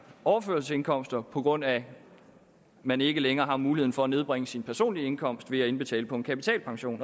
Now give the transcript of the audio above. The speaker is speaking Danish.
overførselsindkomster på grund af at man ikke længere har mulighed for at nedbringe sin personlige indkomst ved at indbetale på en kapitalpension